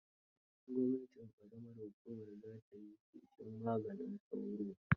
Gwamnatin ƙaramar hukuma za ta yi feshin maganin sauro.